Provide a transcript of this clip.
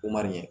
Umaru ɲɛ